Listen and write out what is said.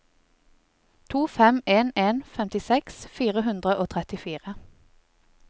to fem en en femtiseks fire hundre og trettifire